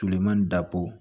Tileman dabɔ